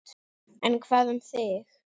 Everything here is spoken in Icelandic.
En hvað um þig?